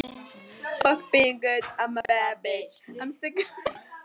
Elín, lækkaðu í græjunum.